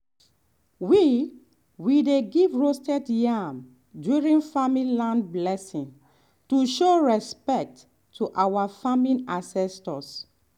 we we dey give roasted yam during family land blessing to show respect to our farming ancestors.